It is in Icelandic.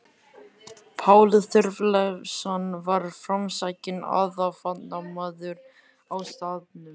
Páll Þorleifsson var framsækinn athafnamaður á staðnum.